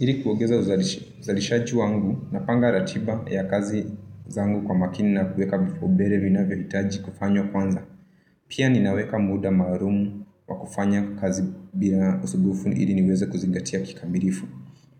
Iri kuongeza uzalishaji wangu napanga ratiba ya kazi zangu kwa makini na kuweka vipaumbere vinavyohita kufanywa kwanza. Pia ninaweka muda maarumu wa kufanya kazi bila usubufu ili niweze kuzingatia kikamirifu.